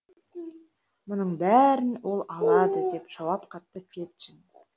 мұның бәрін ол алады деп жауап қатты феджин